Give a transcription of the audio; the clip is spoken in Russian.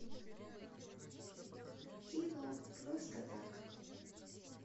кино просто так